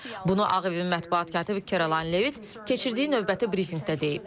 Bunu Ağ Evin mətbuat katibi Kerolin Levit keçirdiyi növbəti brifinqdə deyib.